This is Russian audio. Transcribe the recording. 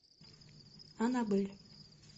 аннабель